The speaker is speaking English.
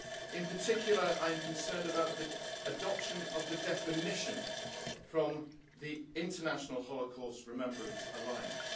In particular, I am concerned about the adoption of the definition from the International Holocaust Remembrance Alliance.